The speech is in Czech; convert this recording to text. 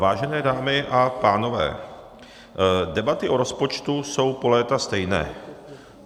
Vážené dámy a pánové, debaty o rozpočtu jsou po léta stejné.